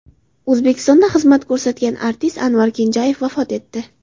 O‘zbekistonda xizmat ko‘rsatgan artist Anvar Kenjayev vafot etdi.